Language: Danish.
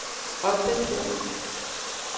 opdatér